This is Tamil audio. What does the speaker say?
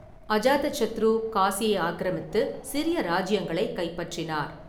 அஜாதசத்ரு காசியை ஆக்கிரமித்து சிறிய ராஜ்யங்களைக் கைப்பற்றினார்.